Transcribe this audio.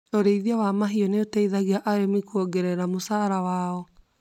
Ũrĩithia wa mahiũ nĩ ũteithagia arĩmi kuongerera mũcara wao.